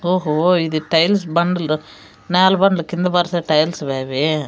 ఓహో ఇది టైల్స్ బండలు నేల బండలు కింద పరిసే టైల్స్ వా అవి.